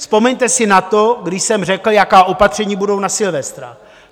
Vzpomeňte si na to, kdy jsem řekl, jaká opatření budou na Silvestra.